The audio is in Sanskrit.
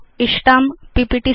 इष्टां पीपीटी